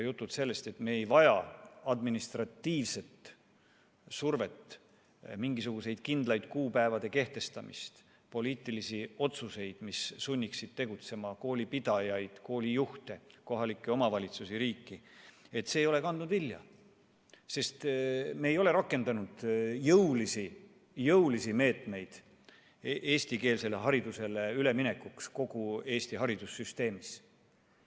Jutud sellest, et me ei vaja administratiivset survet, mingisuguste kindlate kuupäevade kehtestamist, poliitilisi otsuseid, mis sunniksid tegutsema koolipidajaid, koolijuhte, kohalikke omavalitsusi, riiki – need ei ole kandnud vilja, sest me ei ole rakendanud jõulisi meetmeid eestikeelsele haridusele üleminekuks kogu Eesti haridussüsteemis.